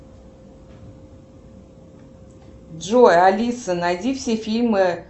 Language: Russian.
джой алиса найди все фильмы